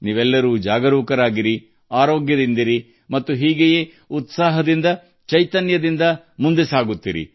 ನೀವೆಲ್ಲರೂ ಜಾಗರೂಕರಾಗಿರಿ ಆರೋಗ್ಯದಿಂದಿರಿ ಮತ್ತು ಇದೇ ರೀತಿಯ ಸಕಾರಾತ್ಮಕ ಶಕ್ತಿಯೊಂದಿಗೆ ಮುನ್ನಡೆಯಿರಿ